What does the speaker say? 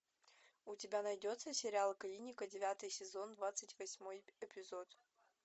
у тебя найдется сериал клиника девятый сезон двадцать восьмой эпизод